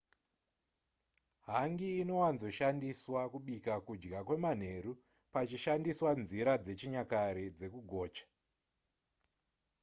hangi inowanzoshandiswa kubika kudya kwemanheru pachishandiswa nzira dzechinyakare dzekugocha